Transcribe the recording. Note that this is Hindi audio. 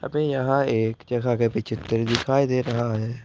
हमें यहां एक जगह के पीछे दिखाई दे रहा है।